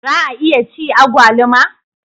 Za a iya ci agwaluma?